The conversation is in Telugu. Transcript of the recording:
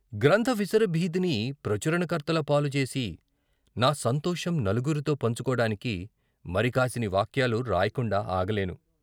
గ్రంథ విసర భీతిని ప్రచురణకర్తల పాలు జేసి, నా సంతోషం నలుగురితో పంచుకోడానికి మరి కాసిని వాక్యాలు రాయకుండా ఆగలేను.